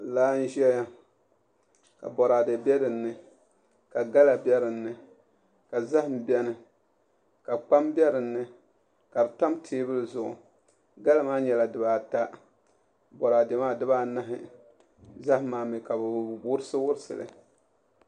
Laa n ʒɛya ka boraadɛ bɛ dinni ka gala bɛni ka zaham bɛni ka kpam bɛ dinni ka di tam teebuli zuɣu gala maa nyɛla dibaata boraadɛ maa dibaanahi zaham maa mii ka bi wurisi wurisi li